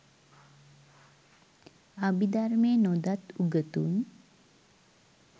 අභිධර්මය නොදත් උගතුන්